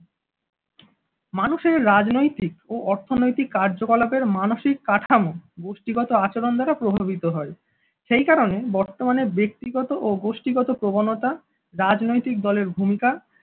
মানুষের রাজনৈতিক ও অর্থনৈতিক কার্যকলাপ এর মানসিক কাঠামো গোষ্ঠীগত আচরণ দ্বারা প্রভাবিত হয়। সেই কারণে বর্তমানে ব্যক্তিগত ও গোষ্ঠীগত প্রবণতা রাজনৈতিক দলের ভূমিকা